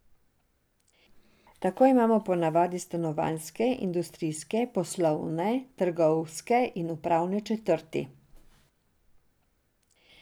Tako imamo po navadi stanovanjske, industrijske, poslovne, trgovske in upravne četrti.